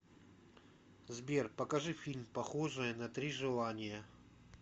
сбер покажи фильм похожии на три желания